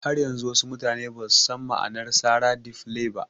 Har yanzu wasu mutane basu san ma'anar sara "Dey play" ba